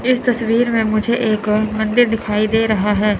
इस तस्वीर में मुझे एक मंदिर दिखाई दे रहा है।